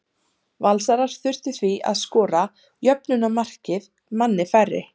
Valsarar þurftu því að skora jöfnunarmarkið manni færri.